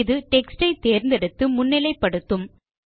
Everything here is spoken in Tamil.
இது டெக்ஸ்ட் ஐ தேர்ந்தெடுத்து முன்னிலை படுத்தும்